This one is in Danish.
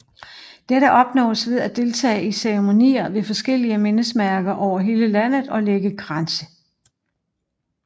Dette opnås ved at deltage i ceremonier ved forskellige mindesmærker over hele landet og lægge kranse